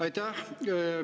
Aitäh!